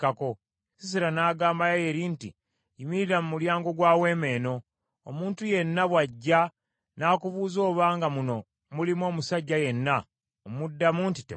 Sisera n’agamba Yayeeri nti, “Yimirira mu mulyango gwa weema eno, omuntu yenna bw’ajja n’akubuuza obanga muno mulimu omusajja yenna, omuddamu nti, ‘Temuli.’ ”